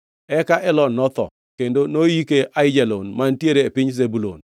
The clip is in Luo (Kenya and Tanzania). Eka Elon notho, kendo noyike Aijalon mantiere e piny Zebulun.